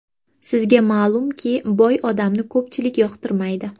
Sizga ma’lumki, boy odamni ko‘pchilik yoqtirmaydi.